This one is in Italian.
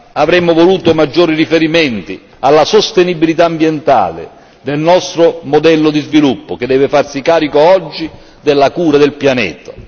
Avremmo voluto maggiori riferimenti alla sostenibilità ambientale nel nostro modello di sviluppo, che deve farsi carico oggi della cura del pianeta.